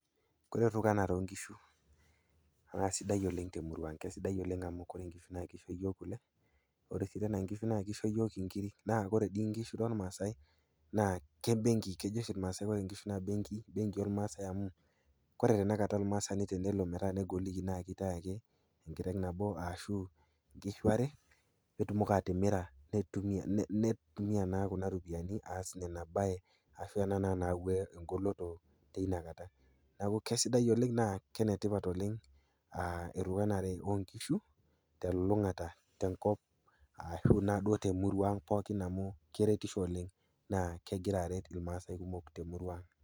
Ore tukuane onkishu na sidai oleng temurua aang ,na kesidai oleng amu koree nkishu na kisho yiol kule ore sii nkishu na kisho yiok nkirik naa ore dii nkishu tormaasai naa kebenki, kejo oshi irmaasai ore nkishu na kebenki ormaasai amu ore tanakata ormaasani tenelo na kegoliki na kitau ake enkiteng nabo ashu nkishu are petumoki atimira neitumia na kuna ropiyani aas nena babe, ashu ena nayau engoloto tinakata, neaku kesidai oleng na kenetipat oleng onkishu telulungata ashu na duo temurua aang pookinamu keretisho oleng na kegira aret irmaasai kumok temurua aang.